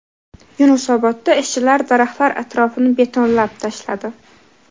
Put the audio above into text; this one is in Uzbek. Yunusobodda ishchilar daraxtlar atrofini betonlab tashladi.